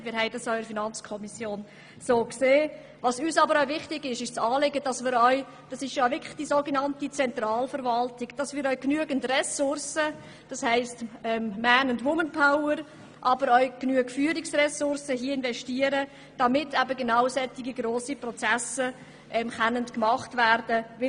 Uns ist jedoch wichtig, dass wir genügend Ressourcen, das heisst man- und womanpower, aber auch Führungsressourcen, bereitstellen, damit solche grosse Prozesse durchgeführt werden können.